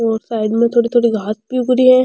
और साइड